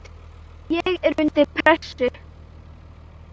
er ég undir pressu?